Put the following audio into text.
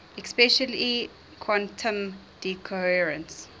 especially quantum decoherence